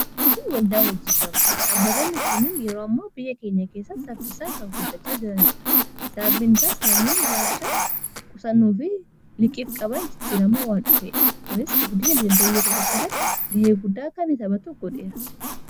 Aangifii waldaa wajjii gamtaa dhaabbatoonni kunin yeroo ammoo biyya keenya keessa saffisaan kan guddachaa jiranidha. saabinsaas namuuni ilaalchaa qusanuu fi liqiif-qaban jijjiramaa waan dhufeedha. kunis gudina dinagdee biiyaa tokko keessatti ga'ee guddaa kan hitaphatu godheera.